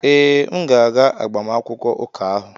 Ee, m ga-aga agbamakwụkwọ ụka ahụ